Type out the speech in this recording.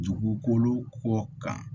Dugukolo ko kan